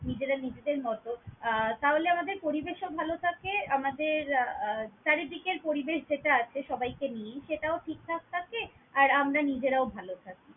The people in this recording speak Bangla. নেজেরা নিজেদের মত আহ তাহলে আমাদের পরিবেশ ও ভালো থাকে আমাদের আহ চারি দিকের পরিবেশ যেটা আছে সবাই কে নিয়ে সেটাও ঠিক ঠাক থাকে আর আমারা নিজেরাও ভালো থাকি।